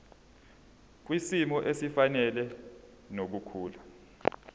kwisimo esifanele nokukhula